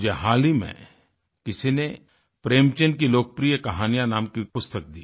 मुझे हाल ही में किसी ने प्रेमचंद की लोकप्रिय कहानियाँ नाम की पुस्तक दी